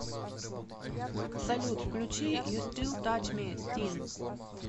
салют включи ю стил тач ми стинг